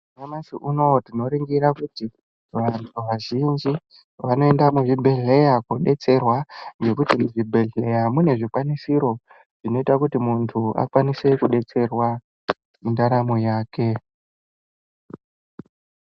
Nyamashi unowu tinoringira kuti vantu vazhinji vanoenda muzvibhedhleya kodetserwa ngekuti muzvibhedhleya mune zvikwanisiro zvinoita kuti muntu akwanise kudetserwa mundaramo yake.